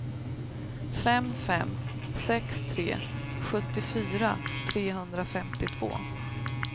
fem fem sex tre sjuttiofyra trehundrafemtiotvå